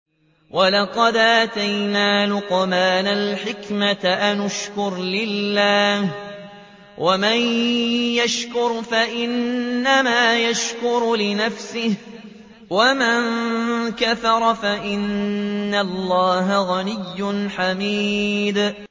وَلَقَدْ آتَيْنَا لُقْمَانَ الْحِكْمَةَ أَنِ اشْكُرْ لِلَّهِ ۚ وَمَن يَشْكُرْ فَإِنَّمَا يَشْكُرُ لِنَفْسِهِ ۖ وَمَن كَفَرَ فَإِنَّ اللَّهَ غَنِيٌّ حَمِيدٌ